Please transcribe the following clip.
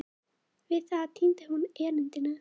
Við það týndi hún erindinu.